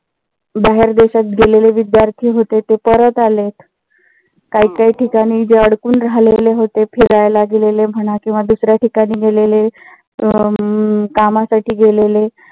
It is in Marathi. बाहेर देशात गेलेले विद्यार्थी होते ते परत आलेत. काही काही ठिकाणी जे अडकून राहिलेले होते फिरायला गेलेले म्हणा किंवा दुसऱ्या ठिकाणी गेलेले अं कामासाठी गेलेले